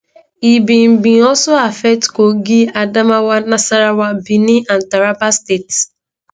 e bin bin also affect kogi adamawa nasarawa benue and taraba states